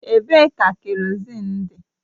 Ebee ka kerọzin dị?